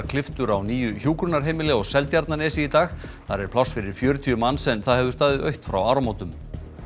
klipptur á nýju hjúkrunarheimili á Seltjarnarnesi í dag þar er pláss fyrir fjörutíu manns en það hefur staðið autt frá áramótum